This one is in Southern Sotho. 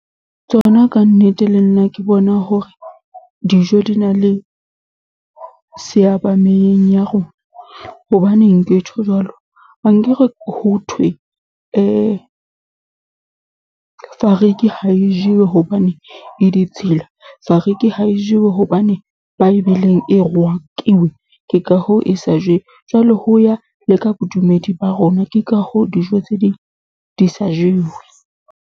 Tsona ka nnete le nna ke bona hore, dijo di na le seaba mmeleng ya rona. Hobaneng ke tjho jwalo? Ankere ho thwe , fariki ha e jewe hobane e ditshila, fariki ha e jewe hobane Bible-ng e rwakiwe. Ke ka hoo e sa jewe, jwale ho ya le ka bodumedi ba rona, ke ka hoo dijo tse ding di sa jewe.